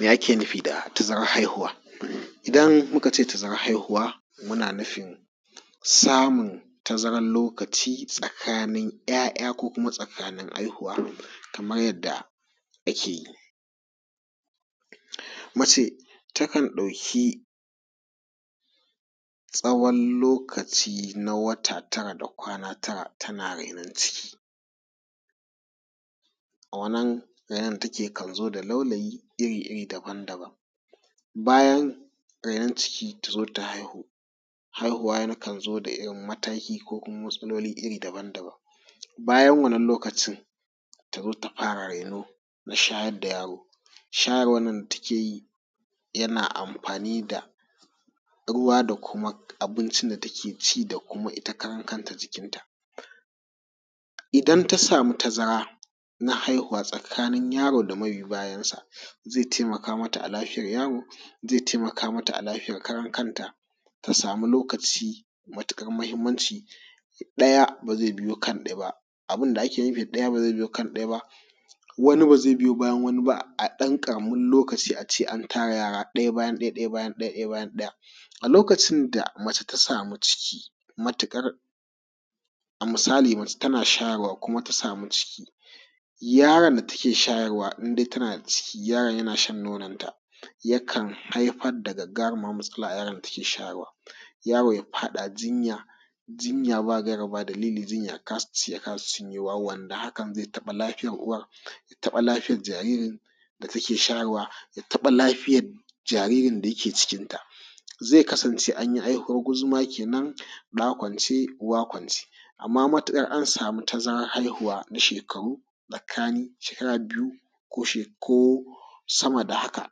Ya ake nufi da tazarar haihuwa? Idan aka ce tazarar haihuwa muna nufin samun tazarar lokaci tsakanin yaya ko kuma tsakanin haihuwa kamar yadda a ke yi. Mace ta kan ɗauki tsawon lokaci na wata tara da kwana tara tana renon ciki. A wannan renon ta kan zo da laulayi iri daban-daban bayan rainon ciki ta kan zo ta haihu, haihuwa kan zo da wata iri ko matsaloli daban-daban. Bayan wannan lokacin ta zo ta fara reno na shayar da yaro, shayarwan nan da ta ke yi yana amfani da ruwa da kuma abincin da take ci ita karan kan ta jikin ta. Idan ta sami tazara na haihuwa tsakanin yaro da ma bi bayanshi zai taimaka ma ta a lafiyan yaro zai taimaka ma ta ita karan kan ta ta sami lokaci mai matuƙar muhimmanci. Ɗaya ba zai zo kan ɗaya ba, abinda ake nufi da ɗaya ba zai zo kan ɗaya ba wani ba zai biyo bayan wani ba a ɗan ƙaramin lokaci a ce an tara yara ɗaya bayan ɗaya ɗaya bayan ɗaya. A lokacin da mace ta sami ciki matuƙar a misali mace tana shayarwa ta sami ciki yaron da take shayarwa ya in dai tana da ciki yaron yana shan nononta ya kan haifar da gagarumar matsala ga yaron da take shayarwa yaro kan faɗa jinya jinya ba gaira ba ɗan dalili ya kasa ci ya kasa sha wannan har zai taɓi lafiyan uwar taɓa lafiyan jaririn da take shayarwa ya taɓa lafiyar jaririn da yake cikin ta zai kasance an yi haihuwan guzuma kenan ɗa kwance uwa kwance. Amma matuƙar an sami tazarar haihuwa na shekaru tsakani shekara biyu ko sama da haka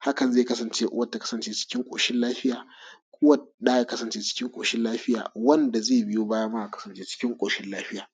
hakan zai kasance cikin koshin lafiya uwar da ya kasance cikin ƙoshin lafiya uwan ɗa ya kasance cikin kosin lafiya wanda zai biyo baya ma ya kasance cikin koshin lafiya.